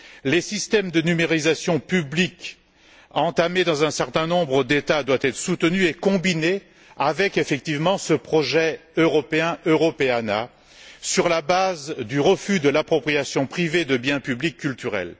Les systèmes de numérisation publics lancés dans un certain nombre d'États doivent être soutenus et combinés avec ce projet européen Europeana sur la base du refus de l'appropriation privée de biens publics culturels.